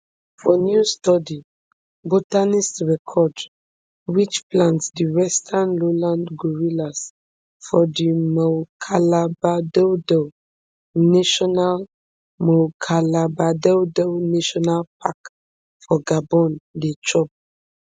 for new study botanists record which plants di western lowland gorillas for di moukalabadoudou national moukalabadoudou national park for gabon dey chop